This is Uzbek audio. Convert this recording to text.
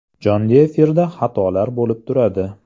Jonli efirda xatolar bo‘lib turadi.